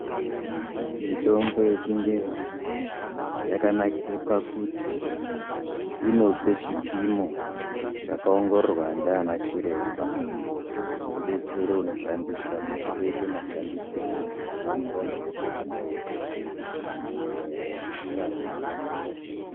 Mitombo yechingezi yakanakira pakuti inopa chipimo chakaongororwa ndiana chiremba. Zvinobetsera anoshandisa kuti oita mashandisirei zveienderana nedenda nezera remuntu.